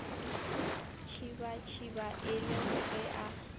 tšibatšiba e le ge a